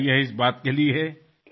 अरे व्वा त्याबद्दल आपले अभिनंदन